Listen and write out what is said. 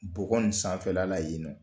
Bɔkɔ in sanfɛla la yen nɔ.